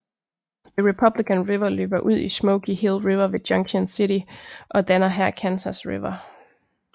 The Republican River løber ud i Smoky Hill River ved Junction City og danner her Kansas River